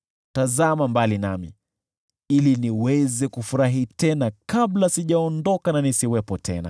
Tazama mbali nami, ili niweze kufurahi tena kabla sijaondoka na nisiwepo tena.”